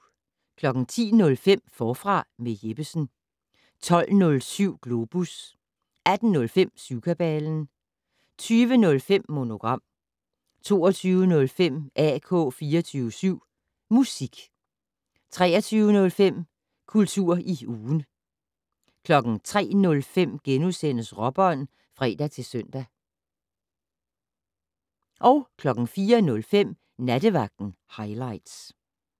10:05: Forfra med Jeppesen 12:07: Globus 18:05: Syvkabalen 20:05: Monogram 22:05: AK 24syv Musik 23:05: Kultur i ugen 03:05: Råbånd *(fre-søn) 04:05: Nattevagten Highligts